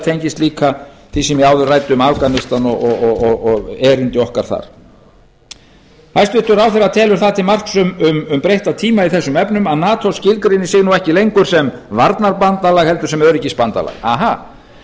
tengist líka því sem ég áður ræddi um afganistan og erindi okkar þar hæstvirtur ráðherra telur það til marks um breytta tíma í þessum efnum að nato skilgreinir sig nú ekki lengur sem varnarbandalag heldur sem öryggisbandalag að